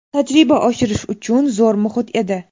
Tajriba oshirish uchun zo‘r muhit edi.